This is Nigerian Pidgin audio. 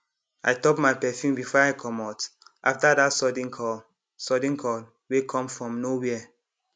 i top my perfume before i comot after that sudden call sudden call wey come from nowhere